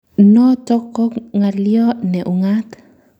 Notok ko ng'alyo ne ung'aat